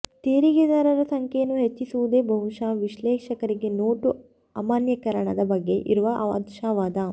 ತೆರಿಗೆದಾರರ ಸಂಖ್ಯೆಯನ್ನು ಹೆಚ್ಚಿಸಿರುವುದೇ ಬಹುಶಃ ವಿಶ್ಲೇಷಕರಿಗೆ ನೋಟು ಅಮಾನ್ಯೀಕರಣದ ಬಗ್ಗೆ ಇರುವ ಆಶಾವಾದ